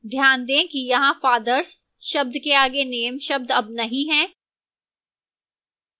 ध्यान दें कि यहां fathers शब्द के आगे name शब्द अब नहीं है